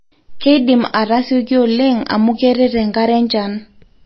keidim ataa asioki oleng amu keret enkare enchan